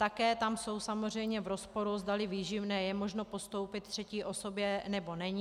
Také tam jsou samozřejmě v rozporu, zdali výživné je možno postoupit třetí osobě, nebo není.